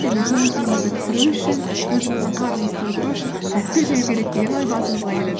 және көңіл күйімізді түсіру үшін өзіміздің қарнымызды тойдыру үшін тәтті жеу керек деген ой басымызға келеді